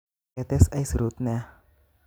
Koketes aisirut nia